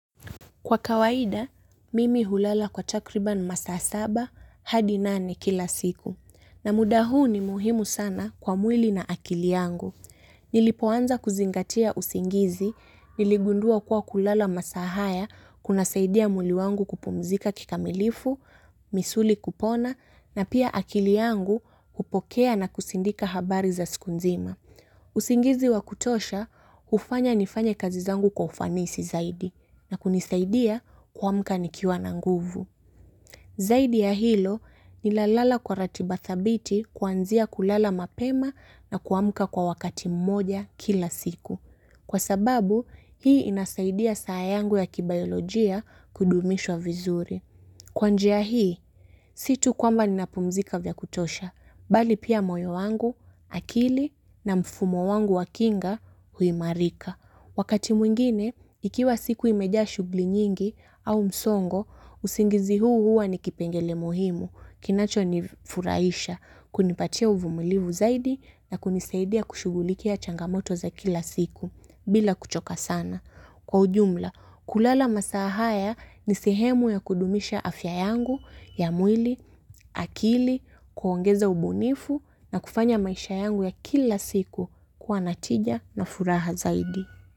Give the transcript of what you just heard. Kwa kawaida, mimi hulala kwa takriban masaa saba hadi nane kila siku. Na muda huu ni muhimu sana kwa mwili na akili yangu. Nilipoanza kuzingatia usingizi, niligundua kuwa kulala masaa haya kunasaidia mwili wangu kupumzika kikamilifu, misuli kupona, na pia akili yangu kupokea na kusindika habari za siku nzima. Usingizi wa kutosha hufanya nifanye kazi zangu kwa ufanisi zaidi na kunisaidia kuamka nikiwa na nguvu. Zaidi ya hilo ninalala kwa ratiba thabiti kuanzia kulala mapema na kuamka kwa wakati mmoja kila siku. Kwa sababu, hii inasaidia saa yangu ya kibiolojia kudumishwa vizuri. Kwa njia hii, si tu kwamba ninapumzika vya kutosha, bali pia moyo wangu, akili na mfumo wangu wakinga huimarika. Wakati mwingine, ikiwa siku imejaa shughuli nyingi au msongo, usingizi huu hua ni kipengele muhimu, kinacho ni furahisha, kunipatia uvumulivu zaidi na kunisaidia kushugulikia changamoto za kila siku, bila kuchoka sana. Kwa ujumla, kulala masaa haya ni sihemu ya kudumisha afya yangu, ya mwili, akili, kuongeza ubunifu na kufanya maisha yangu ya kila siku kuwa natija na furaha zaidi.